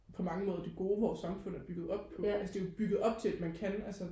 på mange måder det gode vores samfund er bygget op på altså det er bygget op til man kan altså